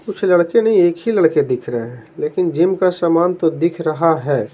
कुछ लड़के नहीं एक ही लड़के दिख रहे है लेकिन जिम का सामान तो दिख रहा है।